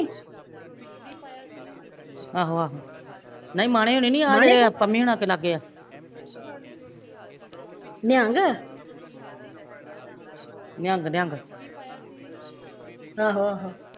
ਆਹੋ ਆਹੋ ਨਹੀਂ ਮਾਣੇ ਹੁਣੀ ਨੀ ਜਿਹੜੇ ਆਹ ਪਮੀ ਹੁਣਾ ਕੇ ਲਾਗੇ ਆ ਨਿਹੰਗ ਨਿਹੰਗ